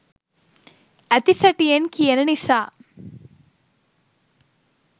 ඇති සැටියෙන් කියන නිසා.